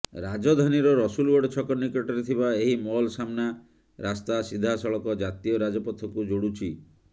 ରାଜଧାନୀର ରସୁଲଗଡ ଛକ ନିକଟରେ ଥିବା ଏହି ମଲ୍ ସାମ୍ନା ରାସ୍ତା ସିଧାସଳଖ ଜାତୀୟ ରାଜପଥକୁ ଯୋଡୁଛି